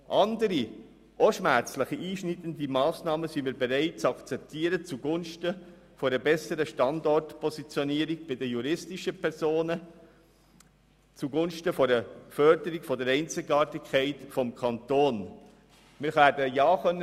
Andere, auch schmerzliche Massnahmen sind wir bereit, zugunsten einer besseren Standortpositionierung bei den juristischen Personen und der Förderung der Einzigartigkeit des Kantons zu akzeptieren.